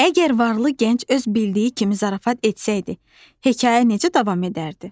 Əgər varlı gənc öz bildiyi kimi zarafat etsəydi, hekayə necə davam edərdi?